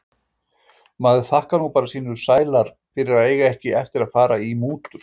Maður þakkar nú bara sínum sæla fyrir að eiga ekki eftir að fara í mútur.